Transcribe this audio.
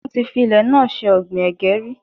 Wọ́n ti fi ilẹ̀ náà ṣe ọ̀gbìn ẹ̀gẹ́ rí.